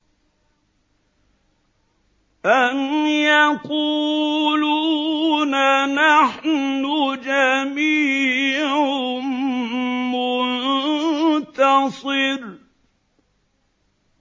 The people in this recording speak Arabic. أَمْ يَقُولُونَ نَحْنُ جَمِيعٌ مُّنتَصِرٌ